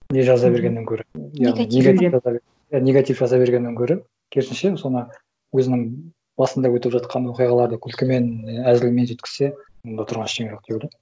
не жаза бергеннен көрі яғни негатив негатив жаза бергеннен гөрі керісінше соны өзінің басында өтіп жатқан оқиғаларды күлкімен әзілмен жеткізсе онда тұрған ештеңе жоқ деп ойлаймын